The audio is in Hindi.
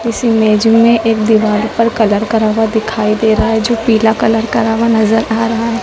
इस इमेज में एक दीवार पर कलर करा हुआ दिखाई दे रहा है जो पीला कलर करा हुआ नजर आ रहा है।